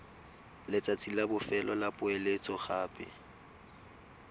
letsatsi la bofelo la poeletsogape